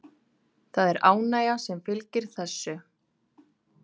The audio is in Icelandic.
Það er ánægja sem fylgir þessu.